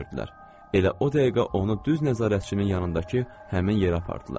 Elə o dəqiqə onu düz nəzarətçinin yanındakı həmin yerə apardılar.